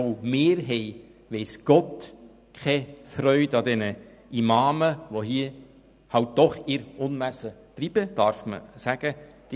Auch wir haben weiss Gott keine Freude an diesen Imamen, die hier halt doch ihr Unwesen treiben, wie man sagen darf.